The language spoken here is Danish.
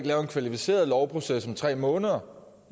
lave en kvalificeret lovproces om tre måneder